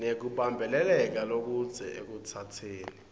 nekubambeleleka lokudze ekutsatseni